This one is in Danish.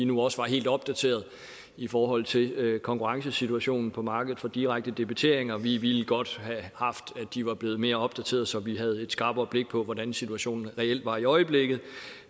nu også var helt opdateret i forhold til konkurrencesituationen på markedet for direkte debiteringer vi ville godt have haft at de var blevet mere opdateret så vi havde et skarpere blik på hvordan situationen reelt var i øjeblikket